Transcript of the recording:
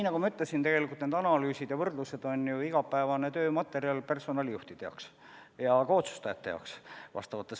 Nagu ma ütlesin, need analüüsid ja võrdlused on ju teatud asutustes igapäevane töö personalijuhtide jaoks ja ka otsustajate jaoks.